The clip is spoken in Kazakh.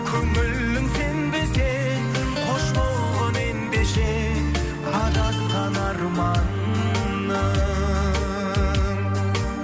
көңілің сенбесе қош болғың ендеше адасқан арманым